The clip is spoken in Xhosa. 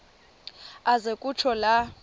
aze kutsho la